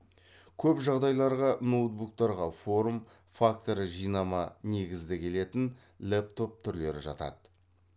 көп жағдайларға ноутбуктарға форм факторы жинама негізді келетін лэптоп түрлері жатады